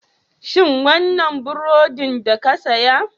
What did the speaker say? Shin wannan burodin da ka saya?